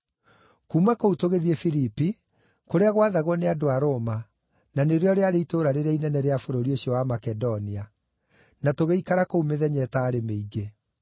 Kuuma kũu tũgĩthiĩ Filipi, kũrĩa gwathagwo nĩ andũ a Roma, na nĩrĩo rĩarĩ itũũra rĩrĩa inene rĩa bũrũri ũcio wa Makedonia. Na tũgĩikara kũu mĩthenya ĩtaarĩ mĩingĩ.